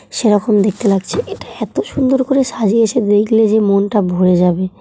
সেরকম দেখতে লাগছে এটা। এত সুন্দর করে সাজিয়েছে দেখলে যে মনটা ভোরে যাবে।